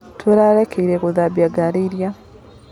Tũrarĩkirie gũthambia ngari ira.